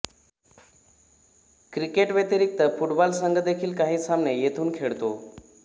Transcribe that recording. cricket व्यतिरिक्त football संघ देखील काही सामने येथून खेळतो